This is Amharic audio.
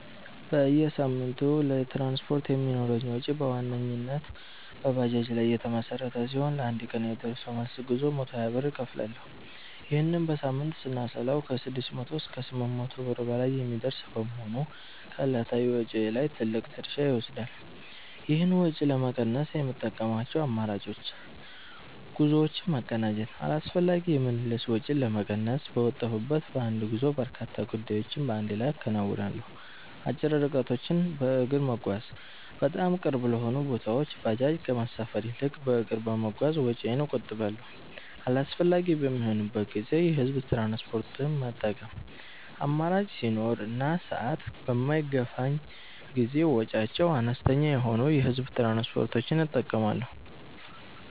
በየሳምንቱ ለትራንስፖርት የሚኖረኝ ወጪ በዋናነት በባጃጅ ላይ የተመሠረተ ሲሆን፣ ለአንድ ቀን የደርሶ መልስ ጉዞ 120 ብር እከፍላለሁ። ይህንን በሳምንት ስናሰላው ከ600 እስከ 800 ብር በላይ የሚደርስ በመሆኑ ከዕለታዊ ወጪዬ ላይ ትልቅ ድርሻ ይወስዳል። ይህን ወጪ ለመቀነስ የምጠቀምባቸው አማራጮች፦ ጉዞዎችን ማቀናጀት፦ አላስፈላጊ የምልልስ ወጪን ለመቀነስ፣ በወጣሁበት በአንድ ጉዞ በርካታ ጉዳዮችን በአንድ ላይ አከናውናለሁ። አጭር ርቀቶችን በእግር መጓዝ፦ በጣም ቅርብ ለሆኑ ቦታዎች ባጃጅ ከመሳፈር ይልቅ በእግር በመጓዝ ወጪዬን እቆጥባለሁ። አስፈላጊ በሚሆንበት ጊዜ የህዝብ ትራንስፖርት መጠቀም፦ አማራጭ ሲኖር እና ሰዓት በማይገፋኝ ጊዜ ወጪያቸው አነስተኛ የሆኑ የህዝብ ትራንስፖርቶችን እጠቀማለሁ።